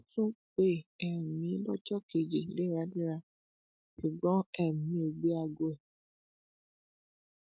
onídàájọ sherifa sọnáìkẹ́ ló ń gbọ ẹjọ náà